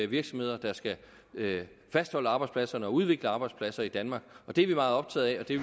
virksomheder der skal fastholde arbejdspladserne og udvikle arbejdspladser i danmark det er vi meget optaget af og det